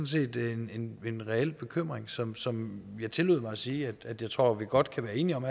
set en en reel bekymring som som jeg tillod mig at sige at jeg tror at vi godt kan være enige om